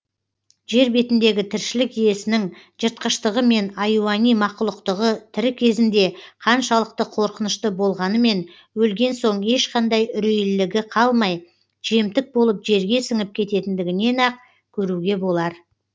жер бетіндегі тіршілік иесінің жыртқыштығы мен аюани мақұлықтығы тірі кезінде қаншалықты қорқынышты болғанымен өлген соң ешқандай үрейлілігі қалмай жемтік болып жерге сіңіп кететіндігінен ақ көруге болар